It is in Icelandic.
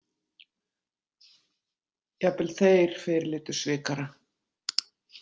Jafnvel þeir fyrirlitu svikara.